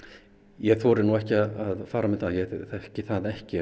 ég þori nú ekki að fara með það ég þekki það ekki